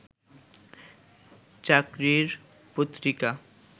চাকরির পত্রিকা